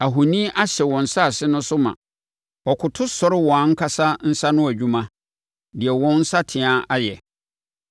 Ahoni ahyɛ wɔn asase no so ma; wɔkoto sɔre wɔn ankasa nsa ano adwuma, deɛ wɔn nsateaa ayɛ.